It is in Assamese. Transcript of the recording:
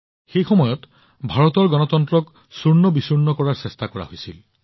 সেই সময়ত ভাৰতৰ গণতন্ত্ৰক চূৰ্ণবিচূৰ্ণ কৰাৰ চেষ্টা কৰা হৈছিল